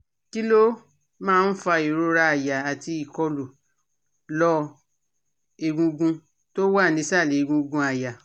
Kí ló máa ń fa ìrora àyà àti ìkọ̀lu lor egungun tó wà nísàlẹ̀ egungun aya?